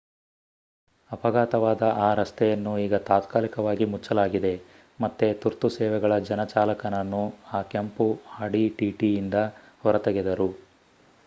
ಅಪಘಾತವಾದ ಆ ರಸ್ತೆಯನ್ನು ಈಗ ತಾತ್ಕಾಲಿಕವಾಗಿ ಮುಚ್ಚಲಾಗಿದೆ ಮತ್ತೆ ತುರ್ತು ಸೇವೆಗಳ ಜನ ಚಾಲಕನನ್ನು ಆ ಕೆಂಪು audi tt ಯಿಂದ ಹೊರತೆಗೆದರು